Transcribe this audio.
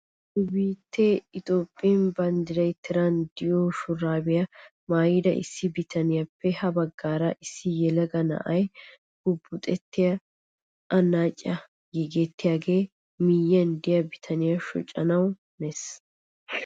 Nu biittee Itoophphee banddiray tiran de'iyoo shuraabiyaa maayida issi bitaniyaappe ha baggaara issi yelaga na'ay bubuxettaa annaciyaasi giigettiyaage miyiyaan de'iyaa bitaniyaa shocanawu hanees!